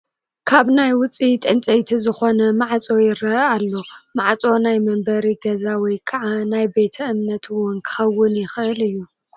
ካብ ናይ ውፅኢት ዕንጨይቲ ዝኾነ ማዕፆ ይረአ ኣሎ፡፡ ማዕፆ ናይ መንበሪ ገዛ ወይ ከዓ ናይ ቤተ እምነት ውን ክኸውን ይኽእል እዩ፡፡